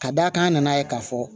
Ka d'a kan an nana ye k'a fɔ